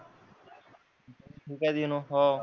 मी काय हो.